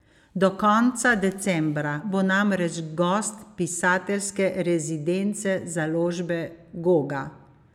Do konca decembra bo namreč gost pisateljske rezidence založbe Goga.